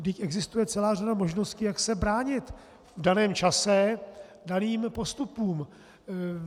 Vždyť existuje celá řada možností, jak se bránit v daném čase daným postupům.